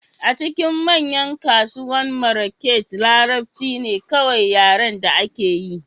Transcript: A cikin manyan kasuwannin Marrakech, Larabci ne kawai yaren da akeyi